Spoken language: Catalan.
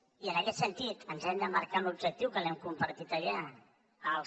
i en aquest sentit ens hem de marcar un objectiu que l’hem compartit allà els